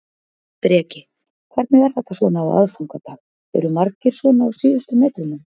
Breki: Hvernig er þetta svona á aðfangadag, eru margir svona á síðustu metrunum?